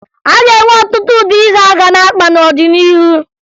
A ga-enwe ọtụtụ ụdị isi a ga na-akpa n'ọdịnihu